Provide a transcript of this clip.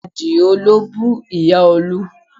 Àdio ló bú Ìyá Olú